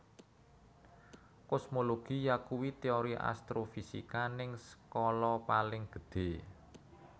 Kosmologi yakuwi teori astrofisika ning skala paling gedhe